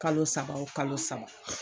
Kalo saba o kalo saba